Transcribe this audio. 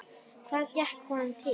Hvað gekk honum til?